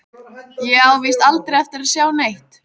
Ég á víst aldrei eftir að sjá neitt.